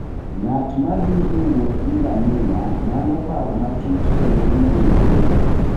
Ng'at ma thi e wuoth gi ngamia nyalo paro matut kendo yudo yueyo.